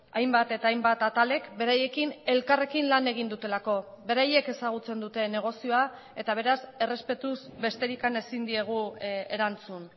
hainbat eta hainbat atalek beraiekin elkarrekin lan egin dutelako beraiek ezagutzen dute negozioa eta beraz errespetuz besterik ezin diegu erantzun